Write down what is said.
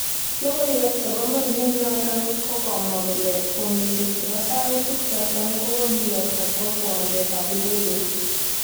Logoiwek chebo mornet noton kokamwa kole fomishek chebo soutik choton kokokiyokto kwo kiwanjet tab idegeit.